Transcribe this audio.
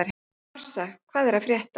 Marsa, hvað er að frétta?